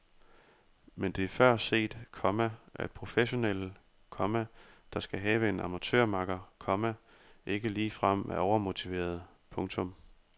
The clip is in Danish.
Men det er før set, komma at professionelle, komma der skal have en amatørmakker, komma ikke ligefrem er overmotiverede. punktum